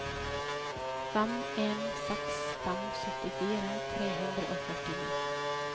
fem en seks fem syttifire tre hundre og førtini